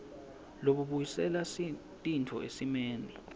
lobubuyisela tintfo esimeni